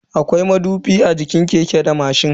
Akwai madubi a jikin keke da mashin.